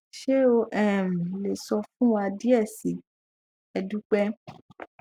ṣe o um le sọ fun wa diẹ sii e dupe